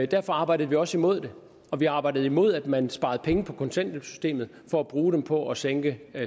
derfor arbejdede vi også imod det og vi arbejdede imod at man sparede penge på kontanthjælpssystemet for at bruge dem på at sænke